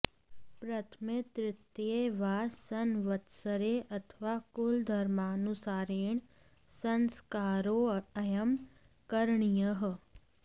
प्रथमे तृतीये वा संवत्सरे अथवा कुलधर्मानुसारेण् संस्कारोऽयं करणीयः